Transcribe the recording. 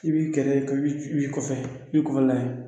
I b'i kɛrɛ i b'i kɔfɛ i b'i kɔfɛ lajɛ